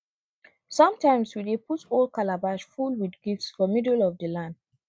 sometimes we dey put old calabash full with gifts for middle of the land